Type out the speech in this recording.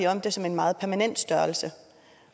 om den som en meget permanent størrelse